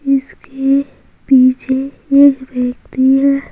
इसके पीछे एक व्यक्ति है।